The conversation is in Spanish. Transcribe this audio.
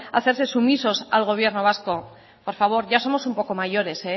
hacerse sumisos al gobierno vasco por favor ya somos un poco mayores